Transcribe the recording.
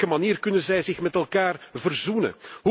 Op welke manier kunnen zij zich met elkaar verzoenen?